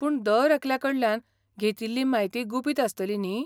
पूण दर एकल्या कडल्यान घेतिल्ली म्हायती गुपीत आसतली न्ही?